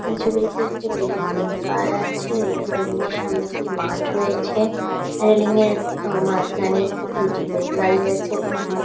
এই ছবিটিতে একটি বিল্ডিং দেখতে পাওয়া যাচ্ছে এবং বিল্ডিং এর সামনে একটি মাঠ রয়েছে। রেলিং এর মাঝ খানে কিছু লোক দাঁড়িয়ে আছে এবং --